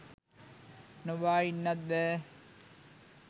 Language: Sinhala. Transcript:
නොබා ඉන්නත් බෑ